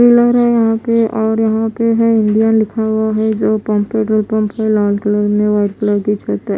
Pillar है यहाँ पे और यहाँ पे है इंडिया लिखा हुआ है जो पोमपेट है पमपेट लाल कलर में व्हाइट कलर की छत्त है ।